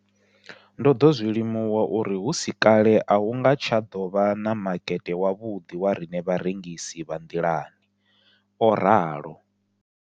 Ndo ḓo zwi limuwa uri hu si kale a hu nga tsha ḓo vha na makete wavhuḓi wa riṋe vharengisi vha nḓilani, o ralo.